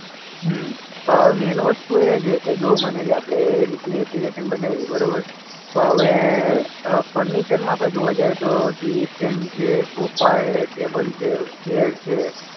હમ્મ. હવે મેઈન વસ્તુ એ છે કે જો માની લે આપણે એ રીતની એપ્લિકેશન બનાવી બરોબર? પણ હવે અ ફર્નિચરમાં આપણે જોવા જઈએ તો ટીવી સ્ટેન્ડ છે, સોફા છે, ટેબલ છે, ચેર છે.